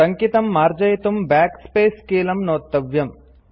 टङ्कितं मार्जयितुं Backspace कीलं नोत्तव्यम्